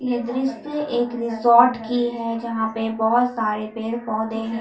यह दृश्य एक रिजॉर्ट की है जहां पर बहुत सारे पेड़ पौधे हैं।